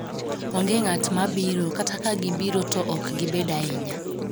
onge ngat mabiro kata ka gibiro to ok gibed ahinya